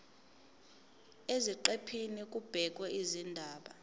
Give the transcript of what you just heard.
eziqephini kubhekwe izindaba